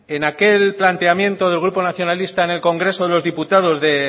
en aquel planteamiento del grupo nacionalista en el congreso de los diputados de